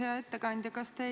Hea ettekandja!